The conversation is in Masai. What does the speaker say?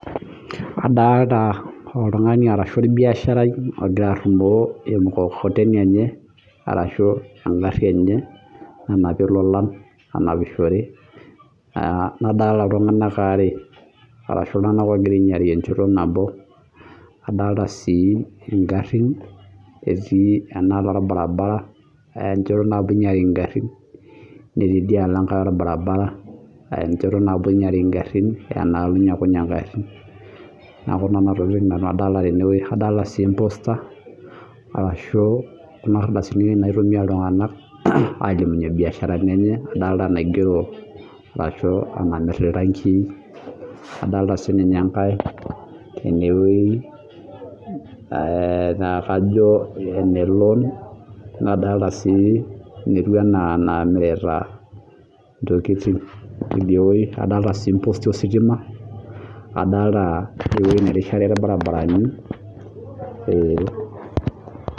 Adolta oltungani ashu orbiasharai ogira arumoo emukokoteni enye arashu engari enye nanapie ilolan , nadolta iltunganak aare ashu iltunganak ogira ainyiari enchoto nabo ,adolita sii ingarin etii enalo orbaribara aa enchoto nabi inyiari ingarin niaku nena tokitin nanu adolita tenewueji , adolita sii emposter arashu kuna ardasini oshi naitumia iltunganak alimunyie imbiasharani enye , adolta sininye enkae tenewueji naa kajo eneloan , nadlota si netiu anaa inamirita ntokitin , adolta si imposti ositima , adolta ewuei nerishare irbaribarani .